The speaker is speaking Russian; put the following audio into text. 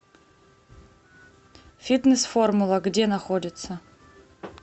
фитнес формула где находится